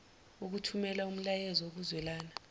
ukuthumela umyalezo wokuzwelana